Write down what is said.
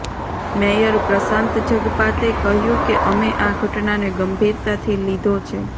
mayor Prashant Jagpate કહ્યું કે અમે આ ઘટનાને ગંભીરતાથી લીધો છે